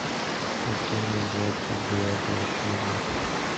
пацаны двадцать девятая серия